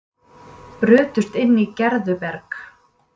Brutust inn í Gerðuberg